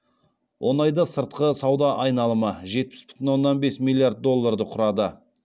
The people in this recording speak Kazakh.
он айда сыртқы сауда айналымы жетпіс бүтін оннан бес миллиард долларды құрады